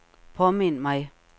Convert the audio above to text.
påmind mig